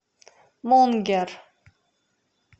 мунгер